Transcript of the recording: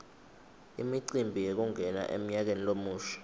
imicimbi yekungena emnyakeni lomusha